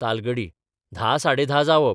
तालगडी धा साडे धा जावप.